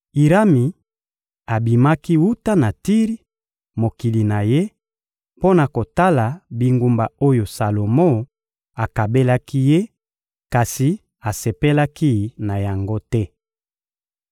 Irami abimaki wuta na Tiri, mokili na ye, mpo na kotala bingumba oyo Salomo akabelaki ye, kasi asepelaki na yango te.